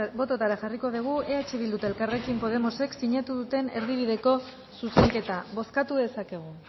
botatara jarriko dugu eh bildu eta elkarrekin podemosek sinatu duten erdibideko zuzenketa bozkatu dezakegu